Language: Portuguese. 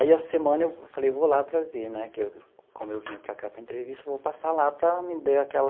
Aí a semana eu falei, eu vou lá para ver né que eu, como eu vinha para cá para entrevista, eu vou passar lá para me dar aquela...